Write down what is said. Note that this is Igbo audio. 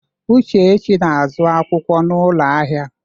Uchechi na-azụ akwụkwọ n'ụlọ ahịa.